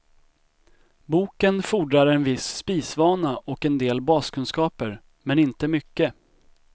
Boken fordrar en viss spisvana och en del baskunskaper, men inte mycket.